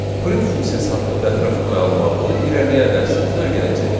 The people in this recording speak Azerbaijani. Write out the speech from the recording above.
Print funksiyası haqqında ətraflı məlumatı irəliləyən dərsimizdə öyrənəcəyik.